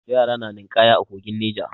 Yara na ninƙaya a kogin Neja.